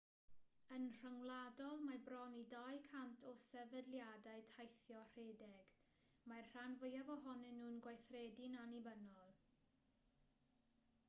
yn rhyngwladol mae bron i 200 o sefydliadau teithio rhedeg mae'r rhan fwyaf ohonyn nhw'n gweithredu'n annibynnol